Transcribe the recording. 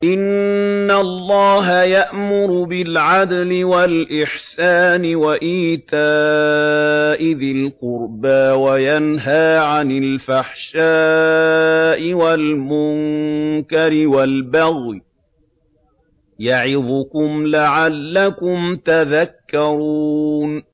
۞ إِنَّ اللَّهَ يَأْمُرُ بِالْعَدْلِ وَالْإِحْسَانِ وَإِيتَاءِ ذِي الْقُرْبَىٰ وَيَنْهَىٰ عَنِ الْفَحْشَاءِ وَالْمُنكَرِ وَالْبَغْيِ ۚ يَعِظُكُمْ لَعَلَّكُمْ تَذَكَّرُونَ